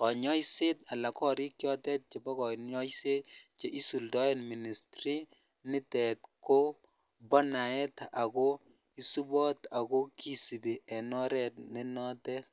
kanyooiseet anan korik chotet chebo kanyooiseet che isuldoen ministri nitet kobonaet isubot ago kisibi en oret nenotet .